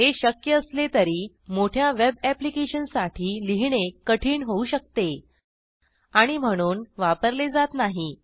हे शक्य असले तरी मोठ्या वेब अॅप्लिकेशनसाठी लिहिणे कठीण होऊ शकते आणि म्हणून वापरले जात नाही